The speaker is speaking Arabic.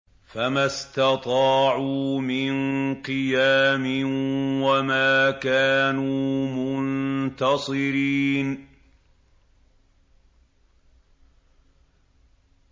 فَمَا اسْتَطَاعُوا مِن قِيَامٍ وَمَا كَانُوا مُنتَصِرِينَ